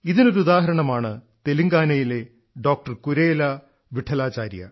ഇതിനൊരുദാഹരണമാണ് തെലുങ്കാനയിലെ ഡോക്ടർ കുരേല വിഠലാചാര്യ